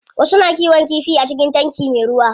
Wasu na kiwon kifi a cikin tanki me ruwa.